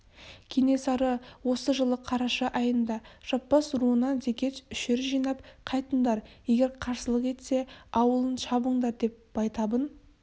кенесары осы жылы қараша айында жаппас руынан зекет үшір жинап қайтыңдар егер қарсылық етсе ауылын шабыңдар деп байтабын